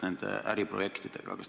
Üks pool väidab üht, teine pool väidab teist.